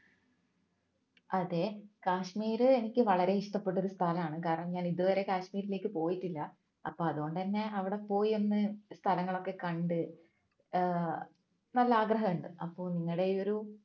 അതേ കാശ്മീർ എനിക്ക് വളരെ ഇഷ്ടപ്പെട്ട ഒരു സ്ഥലമാണ് കാരണം ഞാൻ ഇതുവരെ കാശ്മീരിലേക്ക് പോയിട്ടില്ല അപ്പൊ അതുകൊണ്ട് തന്നെ അവിടെ പോയി ഒന്ന് സ്ഥലങ്ങളൊക്കെ കണ്ട് ഏർ നല്ല ആഗ്രഹമുണ്ട് അപ്പോൾ നിങ്ങളുടെ ഈയൊരു